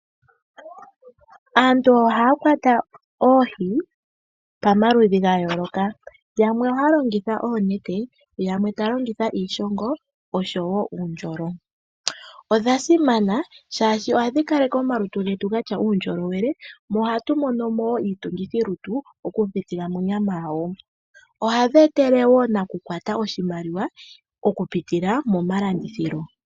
Aantu ohaa kwata oohi pamaludhi ga yooloka. Yamwe ohaa longitha oonete, yamwe taa longitha iishongo oshowo uundjolo. Odha simana, shaashi ohadhi kaleke omalutu getu ga tya uundjolowele mo ohatu mono mo wo iitungithilutu okupitila monyama yadho. Ohadhi etele wo nakukwata oshimaliwa okupitila momalandithilo.